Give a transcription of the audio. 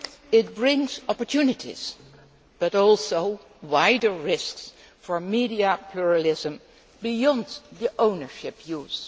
It brings opportunities but also wider risks for media pluralism beyond the ownership use.